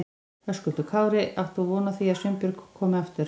Höskuldur Kári: Átt þú von á því að Sveinbjörg komi aftur?